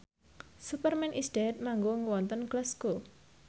Superman is Dead manggung wonten Glasgow